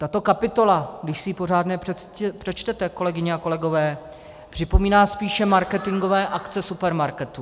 Tato kapitola, když si ji pořádně přečtete, kolegyně a kolegové, připomíná spíše marketingové akce supermarketů.